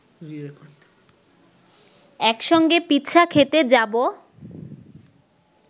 একসঙ্গে পিৎসা খেতে যাব